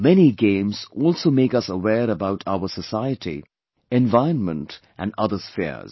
Many games also make us aware about our society, environment and other spheres